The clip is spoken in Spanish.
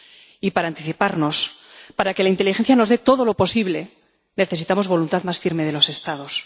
Y para anticiparnos, para que la inteligencia nos dé todo lo posible, necesitamos voluntad más firme de los Estados.